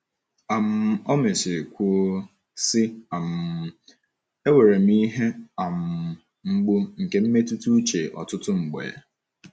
um O mesịrị kwuo sị, um “ enwere m ihe um mgbu nke mmetụta uche ọtụtụ mgbe.